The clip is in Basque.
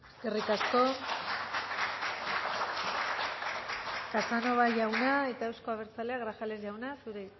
eskerrik asko casanova jauna eta euzko abertzaleak grajales jauna